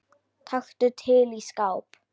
Taktu til í skáp.